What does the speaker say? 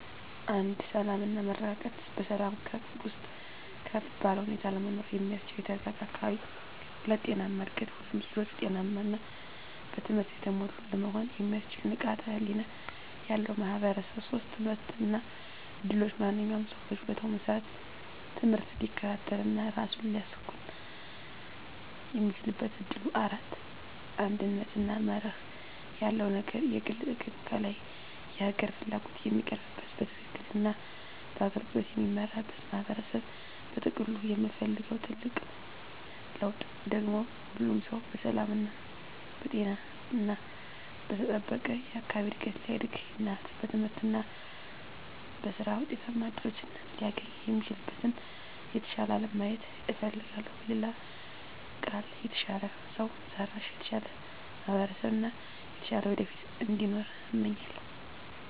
1. ሰላም እና መረጋጋት በሰላም ውስጥ ከፍ ባለ ሁኔታ ለመኖር የሚያስችል የተረጋጋ አካባቢ። 2. ጤናማ እድገት ሁሉም ልጆች ጤናማ እና በትምህርት የተሞሉ ለመሆን የሚያስችል ንቃተ ህሊና ያለው ማህበረሰብ። 3. ትምህርት እና እድሎች ማንኛውም ሰው በችሎታው መሰረት ትምህርት ሊከታተል እና ራሱን ሊያሳኵን የሚችልበት እድል። 4. አንድነት እና መርህ ያለው አገር የግል ጥቅም ከላይ የሀገር ፍላጎት የሚቀርብበት፣ በትክክል እና በአገልግሎት የሚመራበት ማህበረሰብ። በጥቅሉ የምፈልገው ትልቁ ለውጥ ደግሞ ሁሉም ሰው በሰላም፣ በጤና እና በተጠበቀ አካባቢ እድገት ሊያድግ እና በትምህርት እና በሥራ ውጤታማ እድሎችን ሊያገኝ የሚችልበትን የተሻለ አለም ማየት እፈልጋለሁ። በሌላ ቃል፣ የተሻለ ሰው ሰራሽ፣ የተሻለ ማህበረሰብ እና የተሻለ ወደፊት እንዲኖር እመኛለሁ።